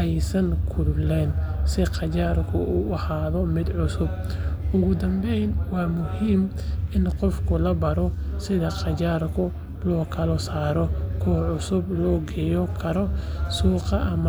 aysan kulaynin si qajaarku u ahaado mid cusub. Ugu dambeyn, waa muhiim in qofka la baro sida qajaarka loo kala saaro, kuwa cusubna loo geyn karo suuqa.